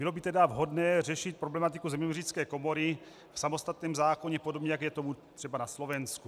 Bylo by tedy vhodné řešit problematiku zeměměřické komory v samostatném zákoně, podobně jako je tomu třeba na Slovensku.